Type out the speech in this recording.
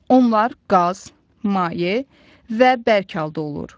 Onlar qaz, maye və bərk halda olur.